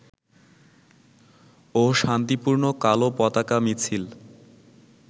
ও শান্তিপূর্ণ কালো পতাকা মিছিল